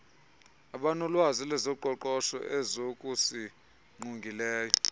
abanolwazi lwezoqoqosho ezokusingqongileyo